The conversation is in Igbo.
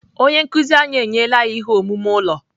Onye nkụzi anyị enyela anyị ihe omume ụlọ.